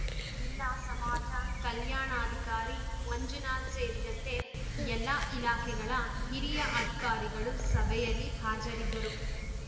ಜಿಲ್ಲಾ ಸಮಾಜ ಕಲ್ಯಾಣಾಧಿಕಾರಿ ಮಂಜುನಾಥ್ ಸೇರಿದಂತೆ ಎಲ್ಲಾ ಇಲಾಖೆಗಳ ಹಿರಿಯ ಅಧಿಕಾರಿಗಳು ಸಭೆಯಲ್ಲಿ ಹಾಜರಿದ್ದರು